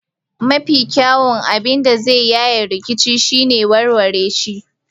Mafi kyawun abin da za a yi yayin rikici shine warware shi.